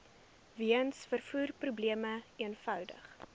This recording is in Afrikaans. weens vervoerprobleme eenvoudig